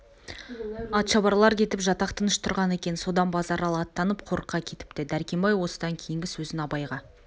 атшабарлар кетіп жатақ тыныш тұрған екен содан базаралы аттанып қорыққа кетіпті дәркембай осыдан кейінгі сөзін абайға